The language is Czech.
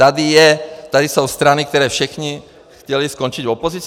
Tady jsou strany, které všechny chtěly skončit v opozici?